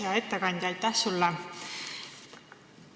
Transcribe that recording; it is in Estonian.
Hea ettekandja, aitäh sulle!